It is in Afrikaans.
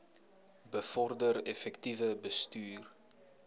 bevorder effektiewe bestuur